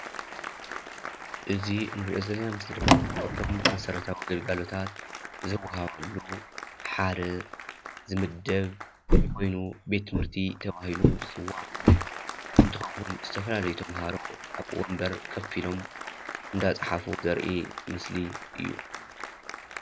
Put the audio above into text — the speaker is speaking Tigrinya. እዚ እንሪኦ ዘለና ምስሊ ድማ ካብቶም መስራታዊ ግልጋሎታት ዝወሃበሉ ሓደ ዝምደብ ኾይኑ ቤት ትምህርቲ ተባሂሉ ዝፅዋዕ እንትኾውን ዝተፈላለዩ ተማሃሮ አብ ወንበር ኮፍ ኢሎም እንዳፃሕፍ ዘሪኢ ምስሊ እዩ፡፡